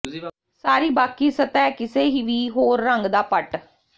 ਸਾਰੀ ਬਾਕੀ ਸਤਹ ਕਿਸੇ ਵੀ ਹੋਰ ਰੰਗ ਦਾ ਪਟ